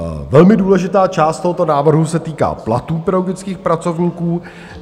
Velmi důležitá část tohoto návrhu se týká platů pedagogických pracovníků.